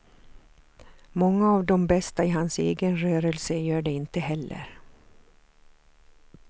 Många av de bästa i hans egen rörelse gör det inte heller.